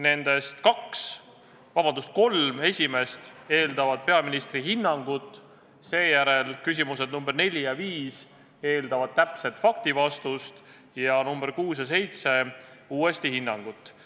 Nendest kolm esimest eeldavad peaministri hinnangut, küsimused nr 4 ja 5 eeldavad täpset faktivastust ning nr 6 ja 7 taas hinnangut.